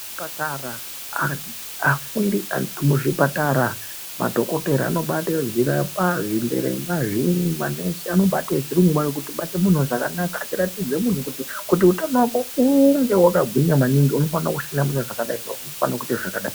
Zvipatara afundi arimuzvipatara madhokotera nemanesi anobate antu zvakanaka achibata muntu zvakanaka achiratidze muntu kuti utano wako unge hwakagwinya maningi unofane kuhlamburika zvakadai, unofane kuita zvakadai.